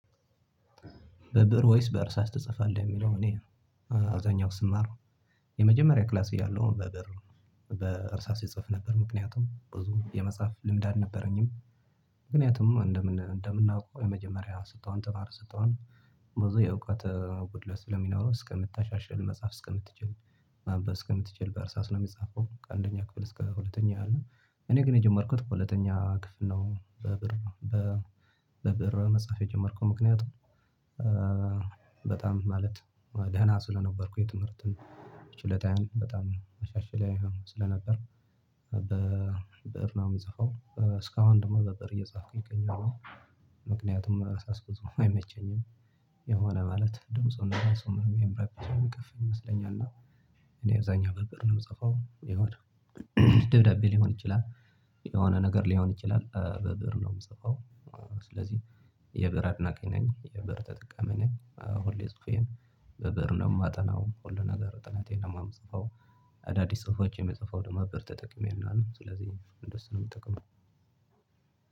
በብእር ወይስ በእርሳስ ትጽፋለህ? የሚለው እኔ አብዛኛው ስማር የመጀመሪያ ክላስ እያለሁ በብእር በእርሳስ እጽፍ ነበር። ምክንያቱም ብዙ የመጽሐፍ ልምድ አልነበረኝም። ምክንያቱም እንደምናውቀው የመጀመሪያ ስትሆን ተማሪ ስትሆን ብዙ የእውቀት ጉድለት ስለሚኖረው እስከምታሻሽል መጽሐፍ እስከምትችል ማንበብ እስከምትችል በእርሳስ ነው የሚጻፈው ከአንደኛ ክፍል እስከ ሁለተኛ አለ። እኔ ግን የጀመርኩት በሁለተኛ ክፍል ነው በብእር። በብእር መጽሐፍ የጀመርኩት ምክንያቱም በጣም ማለት ደህና ስለነበርኩ የትምህርትን ችሎታየም በጣም አሻሻል ስለነበር በብእር ነው ምጽፈው እስካሁን ደግሞ በብእር እየጻፍኩኝ እገኛለሁ። ምክንያቱም በእርሳስ ብጽፍ አይመቸኝም። የሆነ ማለት ድምጹና ራሱ ምንም የሚርብደቀፍ እና እኔ አብዛኛ በብእር ነው የምጽፈው። የሆነ ደብዳቤ ሊሆን ይችላል የሆነ ነገር ሊሆን ይችላል በብእር ነው የምጽፈው። ስለዚህ የብዕር አድናቂ ነኝ የብዕር ተጠቃሚ ነኝ። ሁሌ ጹፌን በብእር ነው የማጠናው ሁሉ ነገር ጥናቴን ደግሞ የምጽፈው። አዳዲስ ጽሁፎች የምጽፈው ደግሞ ብእር ተጠቅሜ ይሆናል ስለዚህ እንደሱ የምጠቀመው።